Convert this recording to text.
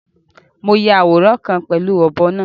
Mo yà awóran kan pẹ̀lú ọbọ̀ náà